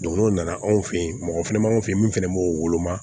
n'o nana anw fɛ yen mɔgɔ fɛnɛ b'an fɛ yen min fɛnɛ b'o woloma